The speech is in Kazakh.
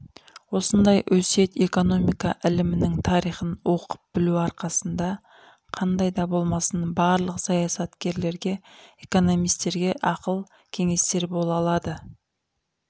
осындай өсиет экономика ілімінің тарихын оқып білу арқасында қандайды болмасын барлық саясаткерлерге экономистерге ақыл-кеңестер бола алады